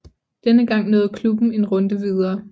Denne gang nåede klubben en runde videre